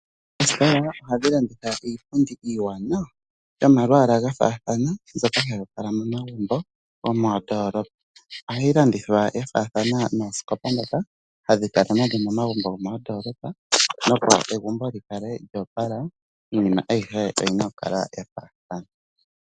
Oositola ohadhi landitha iipundi iiwaanawa yomalwaala ga faathana mbyoka hayi opala momagumbo gomoondoolopa. Ohayi landithwa ya faathana noosikopa ndhoka hadhi kala nadho momagumbo gomoondoolopa, opo egumbo li kale lyo opala iinima ayihe oyi na okukala ya faathana.